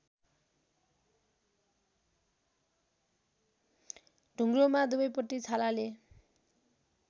ढुङ्ग्रोमा दुवैपट्टी छालाले